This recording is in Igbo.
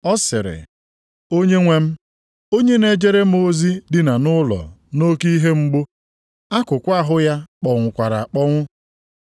Ọ sịrị, “Onyenwe m, onye na-ejere m ozi dina nʼụlọ nʼoke ihe mgbu, akụkụ ahụ ya kpọnwụkwara akpọnwụ.”